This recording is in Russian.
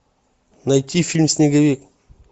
найти фильм снеговик